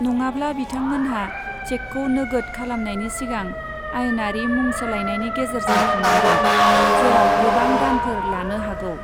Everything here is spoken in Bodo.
नङाब्ला, बिथांमोनहा चेकखौ नोगोद खालामनायनि सिगां आयेनारि मुं सोलायनायनि गेजेरजों थांनांगोन, जेराव गोबां दानफोर लानो हागौ।